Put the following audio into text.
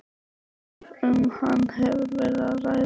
ef um hann hefur verið að ræða.